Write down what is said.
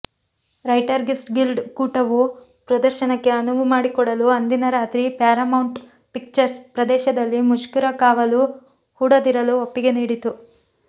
writers guild ಒಕ್ಕೂಟವು ಪ್ರದರ್ಶನಕ್ಕೆ ಅನುವು ಮಾಡಿಕೊಡಲು ಅಂದಿನ ರಾತ್ರಿ ಪ್ಯಾರಾಮೌಂಟ್ ಪಿಕ್ಚರ್ಸ್ ಪ್ರದೇಶದಲ್ಲಿ ಮುಷ್ಕರಕಾವಲು ಹೂಡದಿರಲು ಒಪ್ಪಿಗೆ ನೀಡಿತು